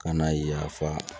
Kana yafa